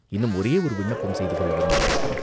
இன்னும் ஒரே ஒரு விண்ணப்பம் செய்து கொள்ள விரும்புகிறோம்.